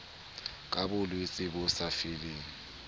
ka bolwetse bo sa foleng